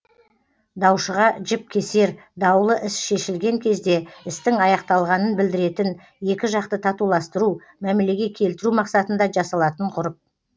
даушыға жіп кесер даулы іс шешілген кезде істің аяқталғанын білдіретін екі жақты татуластыру мәмілеге келтіру мақсатында жасалатын ғұрып